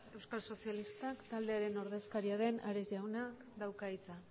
euskal sozialistak taldearen ordezkaria den ares jaunak dauka hitza